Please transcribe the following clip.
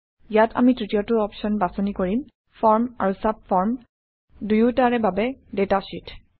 ইয়াত আমি তৃতীয়টো অপশ্যন বাছনি কৰিম ফৰ্ম আৰু চাবফৰ্ম দুয়োটাৰে বাবে ডাটা শ্বিট